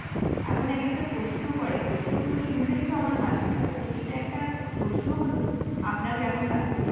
এমন এক একটা প্রশ্ন করে, প্রশ্নগুলো শুনলেই তো আমার হাসি পায় যে এটা একটা প্রশ্ন হলো? আপনার কেমন লাগছে?